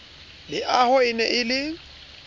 leaho e ne e le